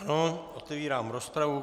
Ano, otevírám rozpravu.